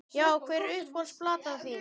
Já Hver er uppáhalds platan þín?